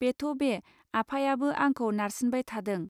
बेथ'बे आफायाबो आंखौ नारसिनबाय थादों